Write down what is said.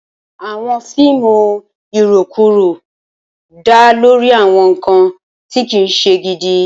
Awọn fiimu irokuro da lori awọn nkan ti kii ṣe gidi